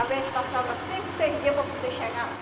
Às vezes passava cinco, seis dia para poder chegar lá.